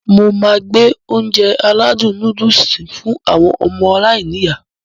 Mo máá gbé Ounjẹ aládùn nóódùsì fún àwọn ọmọ aláiníyá